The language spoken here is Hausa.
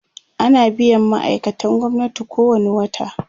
ana biyan ma'aikatan gwamnati kowani wata